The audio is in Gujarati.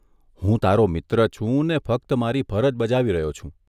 હું તારો મિત્ર છું ને ફક્ત મારી ફરજ બજાવી રહ્યો છું.